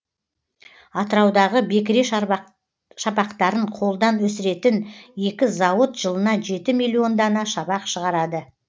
атыраудағы бекіре шабақтарын қолдан өсіретін екі зауыт жылына жеті миллион дана шабақ шығарады